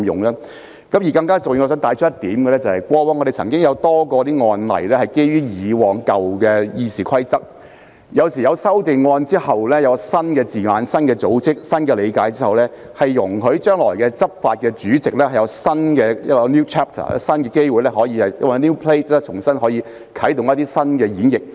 更加重要的是，我想帶出一點：過往不少案例均基於舊有《議事規則》處理，在作出修訂並引入新字眼、新結構及新理解之後，將可容許日後執法的主席有一個 new chapter 及新機會重新啟動一種全新的演繹。